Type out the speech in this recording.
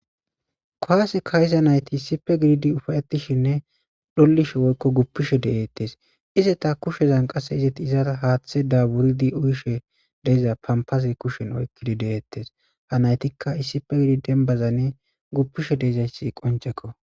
Kuwase ka'iza naytti issippe gididii ufayettishenne dhoolishe woykko guupishe de'etes iizeta kushezan qase izeti haaththaza wuuridi uuyishshe de'iza pampazi kushshen oykidii de'ettes ha nayttikka issippe gididi dembbazanii guupishe dizayssi qonccekko